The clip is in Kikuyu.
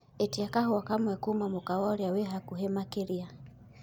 ĩtĩa kahũa kamwe kũma mũkawa uria wi hakũhi makĩrĩa